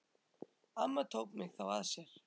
Amma tók mig þá að sér.